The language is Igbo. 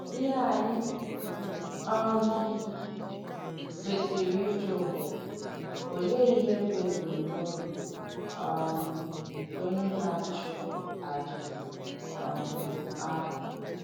Ihe ànyị um kwèsìrī ìjụ̀ bụ, Ọléè ihe bụ́ èbùm̀nòbì um nke onye na-àchụ̀ àjà um àhụ̀?